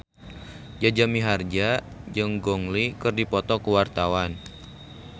Jaja Mihardja jeung Gong Li keur dipoto ku wartawan